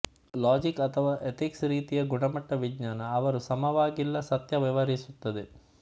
logic ಅಥವಾ ethics ರೀತಿಯ ಗುಣಮಟ್ಟ ವಿಜ್ಞಾನ ಅವರು ಸಮವಾಗಿಲ್ಲ ಸತ್ಯ ವ್ಯವಹರಿಸುತ್ತದೆ